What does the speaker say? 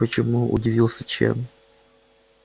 почему удивился чен